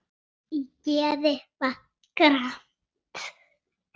Í geði var gramt.